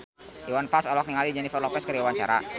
Iwan Fals olohok ningali Jennifer Lopez keur diwawancara